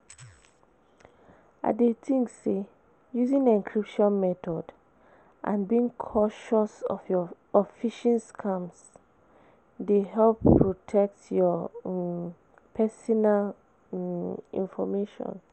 I dey think say using encryption method and being cautious of phishing scams dey help protect your um pesinal um information.